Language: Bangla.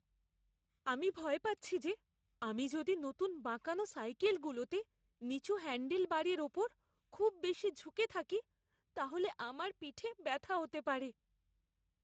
আমি ভয় পাচ্ছি যে আমি যদি নতুন বাঁকানো সাইকেলগুলোতে নিচু হ্যান্ডেলবারের উপর খুব বেশি ঝুঁকে থাকি তাহলে আমার পিঠে ব্যথা হতে পারে।